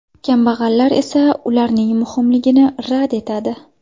Kambag‘allar esa ularning muhimligini rad etadi.